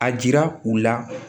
A jira u la